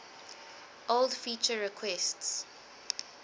old feature requests